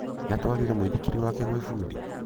Nĩ atwarire mũithikiri wake gwĩ bundi?